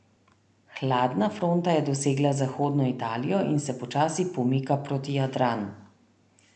Hladna fronta je dosegla zahodno Italijo in se počasi pomika proti Jadranu.